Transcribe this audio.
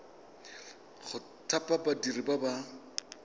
go thapa badiri ba ba